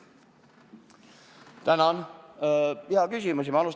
Tänan, hea küsimus!